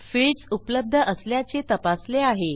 fields उपलब्ध असल्याचे तपासले आहे